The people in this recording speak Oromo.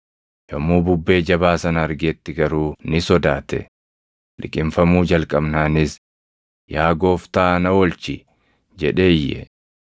Yommuu bubbee jabaa sana argetti garuu ni sodaate; liqimfamuu jalqabnaanis, “Yaa Gooftaa na oolchi!” jedhee iyye.